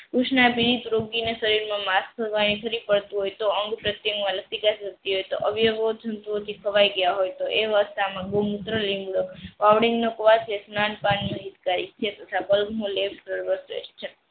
ઉસ ના પીડિત રોગી માં શરીરમાં પડતું હોય તો ખવાઈ ગયા. હોય તો ગૌમુત્ર સર્વ શ્રેષ્ઠ છે.